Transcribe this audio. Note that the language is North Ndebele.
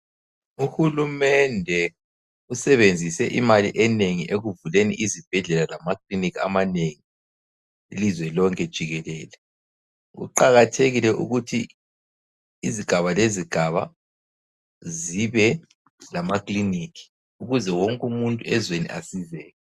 Uhulumende usebenzise imali enengi ekuvuleni izibhedlela lama klinikhi amanengi ilizwe lonke jikelele. Kuqakathekile ukuthi izigaba lezigaba zibe lamaklinikhi ukuze wonke umuntu ezweni asizeke.